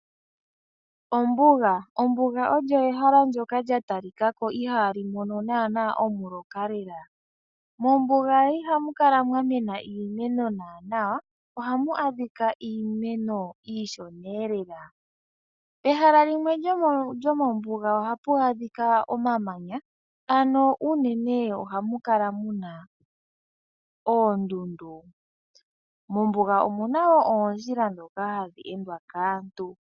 Ombuga olyo ehala ndjoka lya talikako ihaali mono naana omuloka lela, mombuga ihamu kala mwamena iimeno naana ohamu adhika iimeno iishona eelela. Pehala limwe lyomombuga ohapu a dhika omamanya ano unene ohamu kala muna oondundu. Mombuga omuna woo oondjila ndhoka hadhi endwa kaantu.